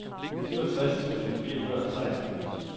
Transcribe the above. syvogtres tusind fire hundrede og seksten